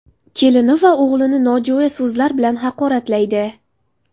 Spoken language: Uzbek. Kelini va o‘g‘lini nojo‘ya so‘zlar bilan haqoratlaydi.